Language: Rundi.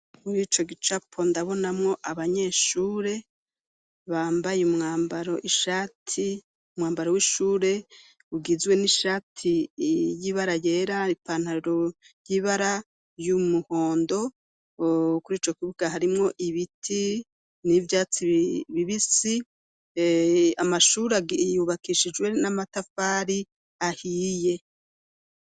Mur ico gicapo ndabonamwo abanyeshure bambaye umwambaro ishati umwambaro w'ishure ugizwe n'ishati y'ibara yera ipantaro y'ibara y'umuhondo kuri co kubuga harimwo ibiti n'ivyatsi bibisi amashuragi iyubakishijwe n'amatafari ahiye.